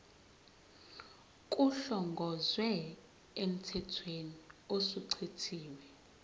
kuhlongozwe emthethweni osuchithiwe